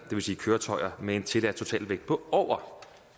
vil sige køretøjer med en tilladt totalvægt på over